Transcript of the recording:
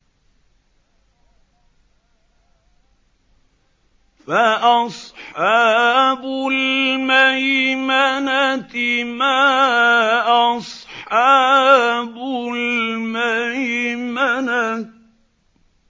فَأَصْحَابُ الْمَيْمَنَةِ مَا أَصْحَابُ الْمَيْمَنَةِ